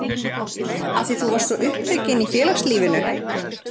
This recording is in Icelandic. Af því þú varst svo upptekin í félagslífinu?